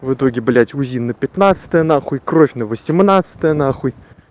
в итоге блядь узи на пятнадцатое нахуй кровь на восемнадцатое нахуй